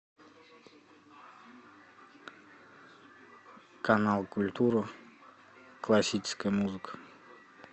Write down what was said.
канал культура классическая музыка